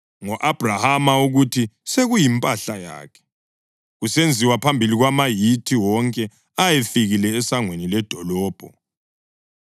ngo-Abhrahama ukuthi sekuyimpahla yakhe, kusenziwa phambi kwamaHithi wonke ayefikile esangweni ledolobho.